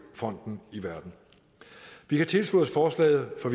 fronten i verden vi kan tilslutte os forslaget for